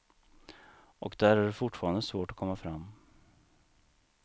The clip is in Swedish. Och där är det fortfarande svårt att komma fram.